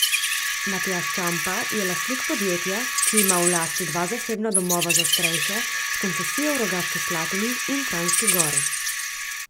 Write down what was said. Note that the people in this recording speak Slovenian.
Matjaž Čampa je lastnik podjetja, ki ima v lasti dva zasebna domova za starejše s koncesijo v Rogaški Slatini in v Kranjski Gori.